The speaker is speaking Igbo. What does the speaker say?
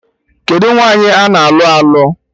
Kedụ nwaanyị ana alụ alụ?